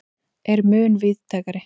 er mun víðtækari.